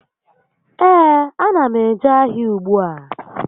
Ee, a na m eje ahịa ùgbúà